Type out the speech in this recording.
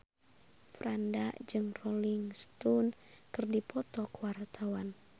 Franda jeung Rolling Stone keur dipoto ku wartawan